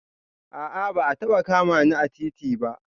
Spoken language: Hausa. A'a ba a taba kama ni a titi ba